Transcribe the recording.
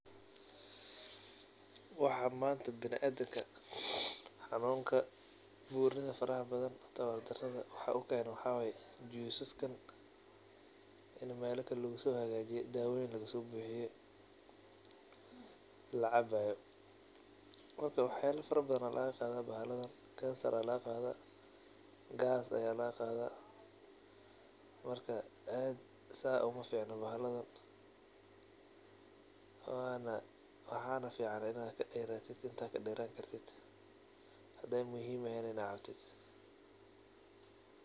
waxan manta binadimka xanuka, burnidha faraha badhan, tawar daradha waxa ukeeno waxawaye juice saskan in meelakal lagusohagaji dawooyiin lagusobuxiye lacabayo. Marka waxa yala farabadhan aa lagadha bahalahaan; cancer aya lagaqadha, gas aya lagaqadha marka aad saa umaficna bahaladhan waana waxa fican inaa kaderatit intaa kaderan kartit haday muhim eheen in aad cabto.